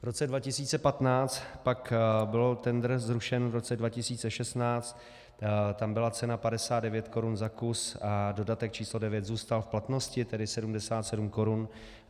V roce 2015 pak byl tendr zrušen, v roce 2016 tam byla cena 59 korun za kus a dodatek číslo 9 zůstal v platnosti, tedy 77 korun.